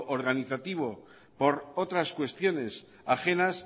organizativo por otras cuestiones ajenas